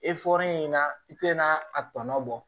in na i tɛna a tɔ bɔ